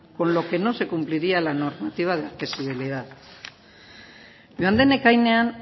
con lo que no se cumpliría la normativa de accesibilidad joan den ekainean